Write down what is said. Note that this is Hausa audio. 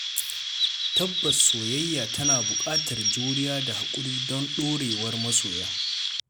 Tabbas Soyayya tana buƙatar juriya da hakuri don ɗorewar masoya.